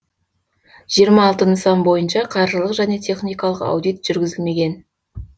жиырма алты нысан бойынша қаржылық және техникалық аудит жүргізілмеген